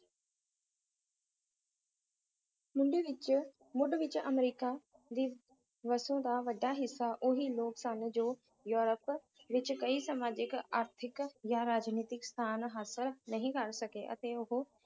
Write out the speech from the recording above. ਮੰਡੀ ਵਿੱਚ ਮੁੱਢ ਵਿੱਚ ਅਮਰੀਕਾ ਦੀ ਵਸੋਂ ਦਾ ਵੱਡਾ ਹਿੱਸਾ ਉਹੀ ਲੋਕ ਸਨ ਜੋ ਯੂਰੋਪ ਵਿੱਚ ਕਈ ਸਮਾਜਿਕ ਆਰਥਿਕ ਜਾਂ ਰਾਜਨੀਤਕ ਸਥਾਨ ਹਾਸਲ ਨਹੀਂ ਕਰ ਸਕੇ ਅਤੇ ਉਹ